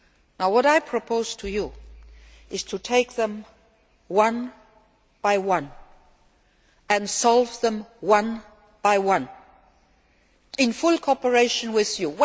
Now what I propose to you is to take them, one by one, and solve them, one by one, in full cooperation with